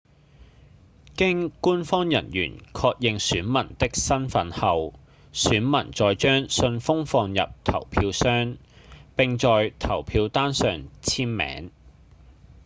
經官方人員確認選民的身份後選民再將信封放入投票箱並在投票單上簽名